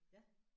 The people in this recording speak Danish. Ja